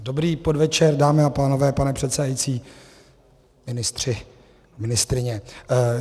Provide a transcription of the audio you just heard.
Dobrý podvečer, dámy a pánové, pane předsedající, ministři, ministryně.